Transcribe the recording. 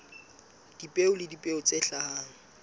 dipeo le dipeo tse hlahang